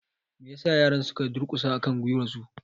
Me ya sa yaran su ka durƙusa a kan gwiwarsu?